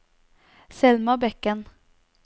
Selma Bekken